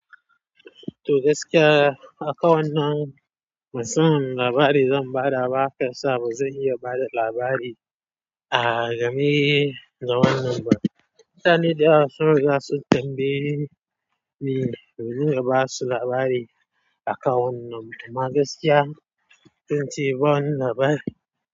Toh gaskiya akan wannan masan wani labari zan ba da shiyasa ba zan iya bada labari a game da wannan ma mutane da yawa sun riga sun tambaye ni domin na ba su labari akan wannan, amma magaskiya sai in ce "ba wani labari".